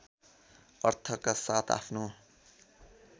अर्थका साथ आफ्नो